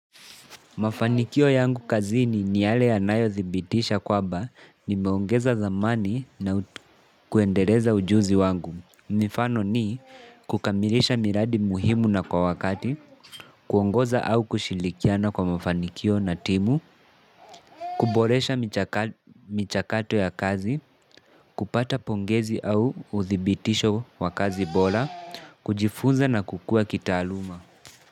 Mafanikio yangu kazini ni yale yanayothibitisha kwamba nimeongeza dhamani na kuendeleza ujuzi wangu. Mifano ni: kukamilisha miradi muhimu na kwa wakati, kuongoza au kushirikiana kwa mafanikio na timu, kuboresha michakato ya kazi, kupata pongezi au uthibitisho wa kazi bora, kujifunza na kukua kitaaluma.